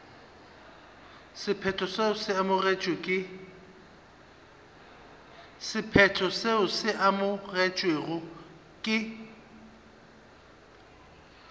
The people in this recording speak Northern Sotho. sephetho seo se amogetšwego ke